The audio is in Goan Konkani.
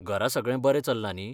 घरा सगळें बरें चल्लां न्ही?